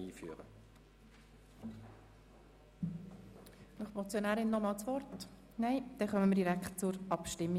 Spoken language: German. Die Motionärin verzichtet auf das Wort, demnach kommen wir direkt zur Abstimmung.